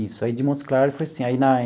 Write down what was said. Isso, aí de Montes Claros foi assim aí na.